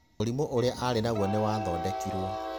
Mũrimũ urĩa arĩ naguo nĩ wathodekirwo.